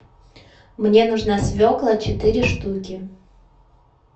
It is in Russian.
мне нужна свекла четыре штуки